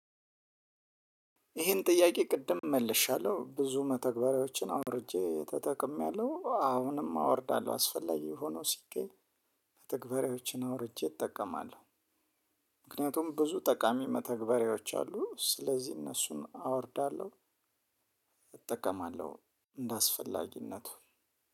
ይሄን ጥያቄ ቅድም መልሻለሁ ብዙ መተግበሪያዎችን አውርጄ ተጠቅሜያለሁ አሁንም አወርዳለሁ አስፈላጊ ሆኖ ሲገኝ መተግበሪያዎችን አውርጀ እጠቀማለሁ። ምክንያቱም ብዙ ጠቃሚ መተግበሪያዎች አሉ ስለዚህ እነሱን አወርዳለሁ። እጠቀማለሁ እንደአስፈላጊነቱ።